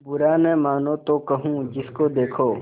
बुरा न मानों तो कहूँ जिसको देखो